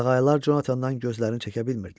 Qağayılar Conatandan gözlərini çəkə bilmirdilər.